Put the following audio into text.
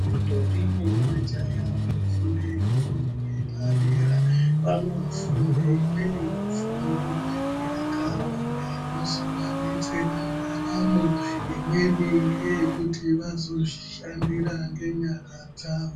Ntombi nemajaya vanofunde fundo yepadera vanofunde imweni fundo yakawanda inozovadetsera ndaramo imweni ngeyekuti vazozvishandira ngenyara dzawo.